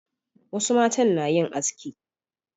wasu matan na yin haski